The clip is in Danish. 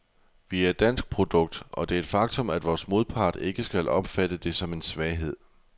Vi er et dansk produkt, og det er et faktum, vores modpart ikke skal opfatte som en svaghed.